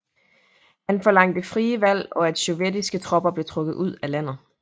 Han forlangte frie valg og at sovjetiske tropper blev trukket ud af landet